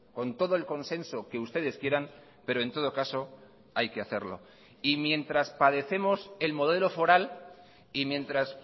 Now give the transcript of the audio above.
con todo el consenso que ustedes quieran pero en todo caso hay que hacerlo y mientras padecemos el modelo foral y mientras